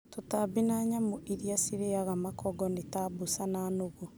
Tũtambi na nyamũ iria cirĩaga makongo ni ta mboca na nũgũ.